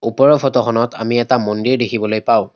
ওপৰৰ ফটো খনত আমি এটা মন্দিৰ দেখিবলৈ পাওঁ।